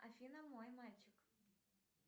афина мой мальчик